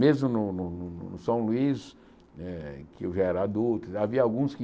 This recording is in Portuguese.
Mesmo no no no São Luís, eh que eu já era adulto, havia alguns que